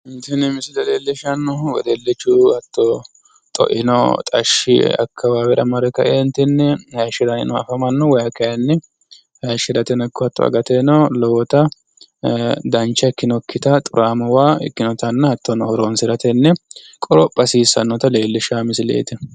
Tini misile leellishshannohu wedellichu hatto xoino xashshi yee akkawaawera mare kaeentinni hayishshiranni afamanno. Wayi kayinni hayishshirateno ikko hatto agate dancha ikkinokkita xuraamo waa ikkinotanna hattono horoonsiratenni qoropha hasiissannota leellishshano misileeti.